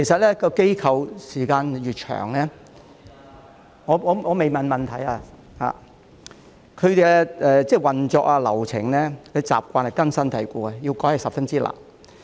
其實，機構運作時間越長......我還未提出我的補充質詢——其運作、流程和習慣越根深蒂固，要改變十分困難。